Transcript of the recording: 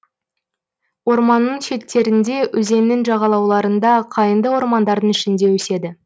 орманның шеттерінде өзеннің жағалауларында қайыңды ормандардың ішінде өседі